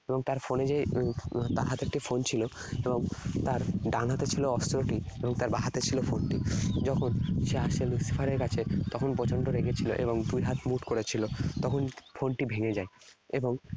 এবং তার phone এ যে, তার হাতে একটি phone ছিল। আহ তার ডান হাতে ছিল অস্ত্রটি আর বাঁ হাতে ছিল phone টি। যখন সে আসে Lucifer এর কাছে, তখন প্রচণ্ড রেগে ছিল এবং দুইহাত মুঠ করে ছিল। এবং তখন phone টি ভেঙ্গে যায়। এবং